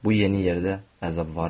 Bu yeni yerdə əzab varmı?